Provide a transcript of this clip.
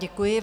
Děkuji.